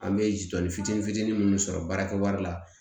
An bɛ jɔnni fitinin fitinin minnu sɔrɔ baarakɛwari la